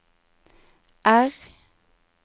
R